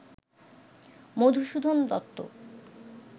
Madhusudan Dutta